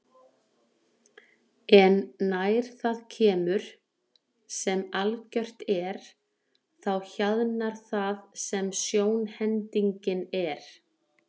En nær það kemur, sem algjört er, þá hjaðnar það sem sjónhendingin er.